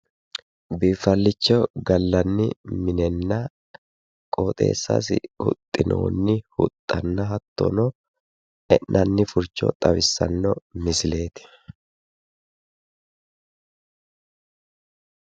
Biifallicho gallanni minenna qooxeessasi huxxinoonni huxxanna hattono e'nanni furcho xawissanno misileeti.